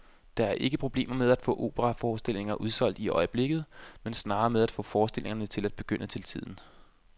Der er ikke problemer med at få operaforestillinger udsolgt i øjeblikket, men snarere med at få forestillingerne til at begynde til tiden.